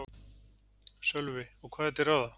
Sölvi: Og hvað er til ráða?